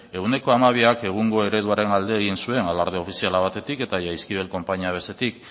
ehuneko hamabiak egungo ereduaren alde egin zen alarde ofiziala batetik eta jaizkibel konpainia bestetik